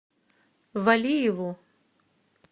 валиеву